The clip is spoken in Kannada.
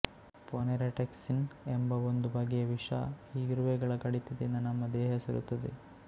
ಪೊನೆರಾಟಿಕ್ಸಿನ್ ಎಂಬ ಒಂದು ಬಗೆಯ ವಿಷ ಈ ಇರುವೆಗಳ ಕಡಿತದಿಂದ ನಮ್ಮ ದೇಹ ಸೇರುತ್ತದೆ